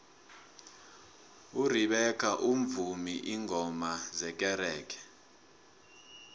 urebecca umvuma ingoma zekerenge